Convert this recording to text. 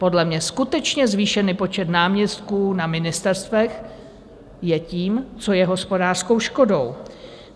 Podle mě skutečně zvýšený počet náměstků na ministerstvech je tím, co je hospodářskou škodou.